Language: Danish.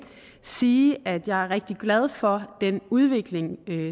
sige at jeg er rigtig glad for den udvikling